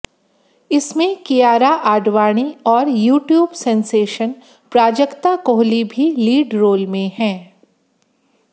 इसमें कियारा आडवाणी और YouTube sensation Prajakta Koli भी लीड रोल में हैं